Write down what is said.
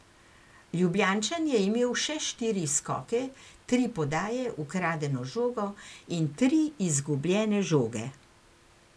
Ljubljančan je imel še štiri skoke, tri podaje, ukradeno žogo in tri izgubljene žoge.